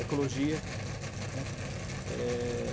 Ecologia, né? É...